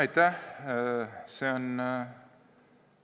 Aitäh!